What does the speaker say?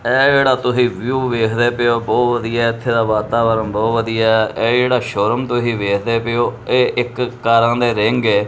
ਇਹ ਜਿਹੜਾ ਤੁਹੀ ਵਿਊ ਵੇਖਦੇ ਪਏ ਔ ਬਹੁਤ ਵਧੀਆ ਐ ਇੱਥੇ ਦਾ ਵਾਤਾਵਰਨ ਬਹੁਤ ਵਧੀਆ ਐ ਇਹ ਜਿਹੜਾ ਸ਼ੋ ਰੂਮ ਤੁਹੀ ਵੇਖਦੇ ਪਏ ਔ ਇਹ ਇੱਕ ਕਾਰਾਂ ਦੇ ਰਿੰਗ ਐ।